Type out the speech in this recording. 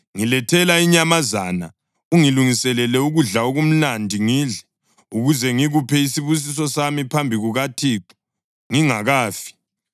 ‘Ngilethela inyamazana ungilungisele ukudla okumnandi ngidle, ukuze ngikuphe isibusiso sami phambi kukaThixo ngingakafi.’